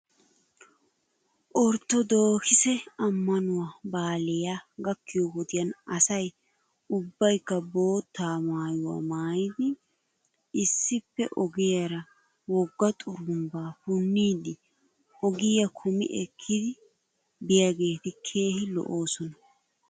Orttodookise ammanuwaa baalay gakkiyoo wodiyan asay ubbaykka bootta maayuwaa maayidi issippe ogiyaara wogga xurumbaa puniiddi ogiyaa kumi ekkidi biyaageeti keehi lo'oosona.